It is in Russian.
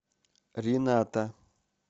рината